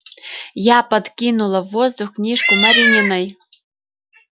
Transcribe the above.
я подкинула в воздух книжку марининой